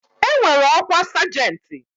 E nwere ọkwa sajenti.